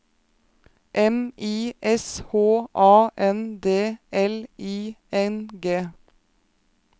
M I S H A N D L I N G